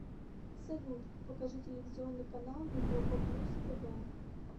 салют покажи телевизионный канал европа плюс тв